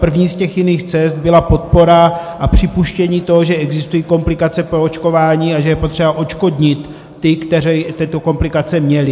První z těch jiných cest byla podpora a připuštění toho, že existují komplikace po očkování a že je potřeba odškodnit ty, kteří tyto komplikace měli.